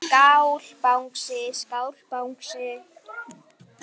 Skál Bangsi.